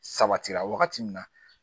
Sabatira wagati min na